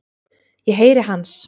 Ég heyri hans.